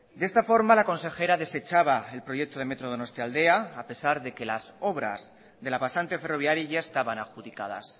de esta forma la consejera desechaba el proyecto de metro donostialdea a pesar de que las obras de la pasante ferroviaria ya estaban adjudicadas